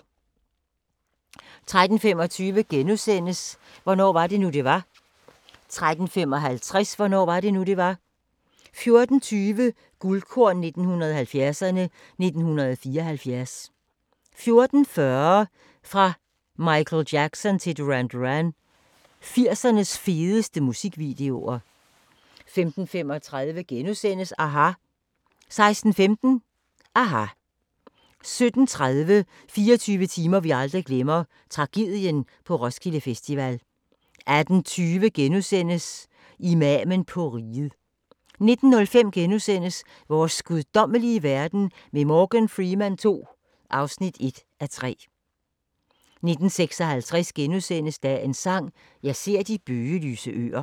13:25: Hvornår var det nu, det var? * 13:55: Hvornår var det nu, det var? 14:20: Guldkorn 1970'erne: 1974 14:40: Fra Michael Jackson til Duran Duran – 80'ernes fedeste musikvideoer 15:35: aHA! * 16:15: aHA! 17:30: 24 timer vi aldrig glemmer – Tragedien på Roskilde Festival 18:20: Imamen på riget * 19:05: Vores guddommelige verden med Morgan Freeman II (1:3)* 19:56: Dagens Sang: Jeg ser de bøgelyse øer *